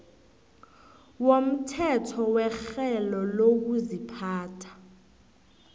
womthetho werhelo lokuziphatha